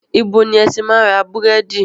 Ibo ni ẹ ti máa ń ra búrẹ́dì?